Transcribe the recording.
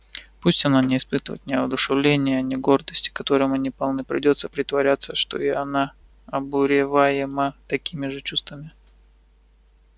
пусть она не испытывает ни воодушевления ни гордости которыми они полны придётся притворяться что и она обуреваема такими же чувствами